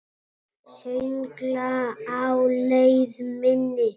Söngla á leið minni.